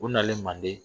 U nalen manden